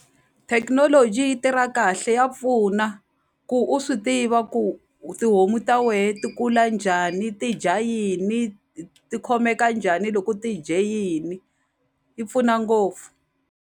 Thekinoloji yi tirha kahle ya pfuna ku u swi tiva ku tihomu ta wehe ti kula njhani ti dya yini ti khomeka njhani loko ti dye yini yi pfuna ngopfu.